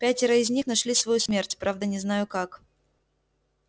пятеро из них нашли свою смерть правда не знаю как